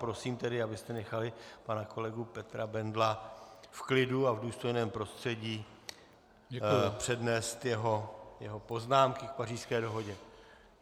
Prosím tedy, abyste nechali pana kolegu Petra Bendla v klidu a v důstojném prostředí přednést jeho poznámky k Pařížské dohodě.